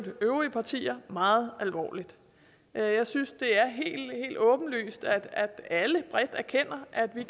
øvrige partier meget alvorligt jeg synes det er helt åbenlyst at alle bredt erkender at vi